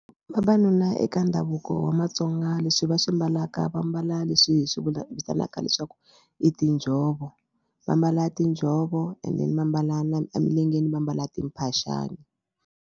Vavanuna eka ndhavuko wa matsonga leswi va swi mbalaka va mbala leswi hi swi vula vitanaka leswaku i tinjhovo va mbala tinjhovo and then va mbala na emilengeni va mbala timphaxani.